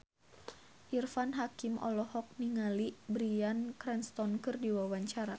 Irfan Hakim olohok ningali Bryan Cranston keur diwawancara